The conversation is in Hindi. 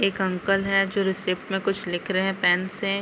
एक अंकल हैं जो रिसीप्ट में कुछ लिख रहे है पैन से।